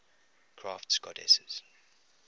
crafts goddesses